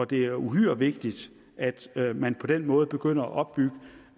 det er uhyre vigtigt at man på den måde begynder at opbygge